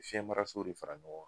Fiyɛnmaraso de fara ɲɔgɔn kan